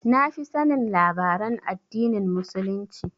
Na fi sanin labaran addinin Muslunci